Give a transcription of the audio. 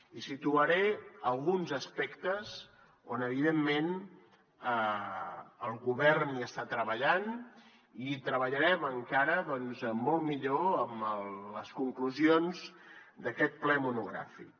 i situaré alguns aspectes on evidentment el govern hi està treballant i hi treballarem encara doncs molt millor amb les conclusions d’aquest ple monogràfic